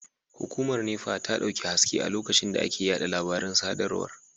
Hukumar NEPA ta dauki haske a lokacin da ake yada labaran sadarwar